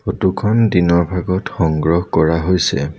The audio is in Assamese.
ফটো খন দিনৰ ভাগত সংগ্ৰহ কৰা হৈছে।